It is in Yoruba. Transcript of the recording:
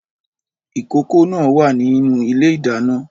Ìkòkò náà wà nínú ilé-ìdáná